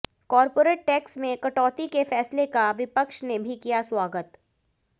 corporate tax में कटौती के फैसले का विपक्ष ने भी किया स्वागत